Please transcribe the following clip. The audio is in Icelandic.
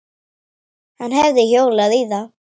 Hann hefði hjólað í þá.